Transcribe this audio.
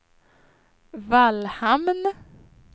Vallhamn